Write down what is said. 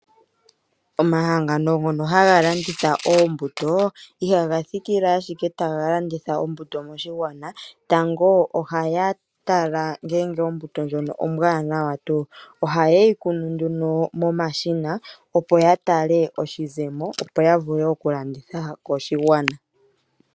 Omahangano ngoka haga landitha oombuto, ihaga thikile taga landitha oombuto moshigwana. Tango ohaga tala ngele ombuto ndjoka ombwaanawa tu. Ohaye yi kunu nduno momashina opo ya tale oshizemo, yo ya wape ya landithe koshigwana.